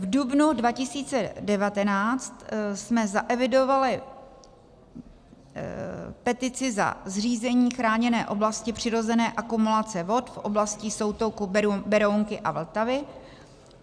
V dubnu 2019 jsme zaevidovali petici za zřízení chráněné oblasti přirozené akumulace vod v oblasti soutoku Berounky a Vltavy.